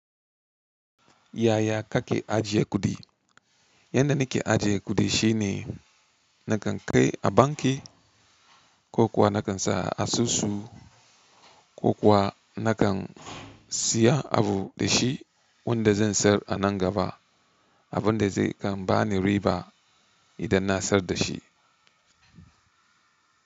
Yaya kake ajiye kuɗi? Yanda nake ajiye kuɗi shine nakan kai a banki ko kuwa nakan sa a susu ko kuwa nakan siya abu da shi wanda zan sayar a nan gaba. Abun da zai dan bani riba idan na sayar da shi.